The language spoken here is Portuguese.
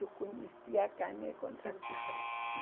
Eu conhecia a carne contra filé